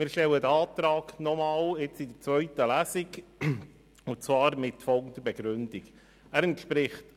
Wir stellen diesen Antrag in der zweiten Lesung mit folgender Begründung noch einmal: